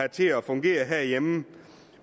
til at fungere herhjemme